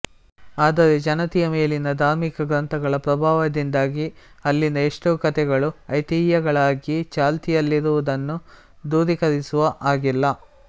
ಆದರೆ ಜನತೆಯ ಮೇಲಿನ ಧಾರ್ಮಿಕ ಗ್ರಂಥಗಳ ಪ್ರಭಾವದಿಂದಾಗಿ ಅಲ್ಲಿನ ಎಷ್ಟೋ ಕಥೆಗಳು ಐತಿಹ್ಯಗಳಾಗಿ ಚಾಲ್ತಿಯಲ್ಲಿರುವುದನ್ನೂ ದೂರೀಕರಿಸುವ ಹಾಗಿಲ್ಲ